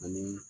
Ani